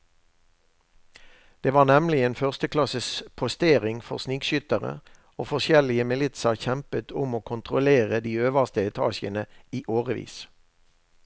Det var nemlig en førsteklasses postering for snikskyttere, og forskjellige militser kjempet om å kontrollere de øverste etasjene i årevis.